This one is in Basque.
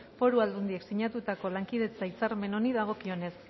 foru aldundiek sinatutako lankidetza hitzarmen honi dagokionez